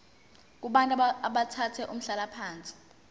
kubantu abathathe umhlalaphansi